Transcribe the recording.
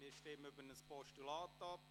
Wir stimmen über ein Postulat ab.